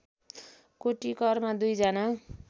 कोटिकरमा दुई जना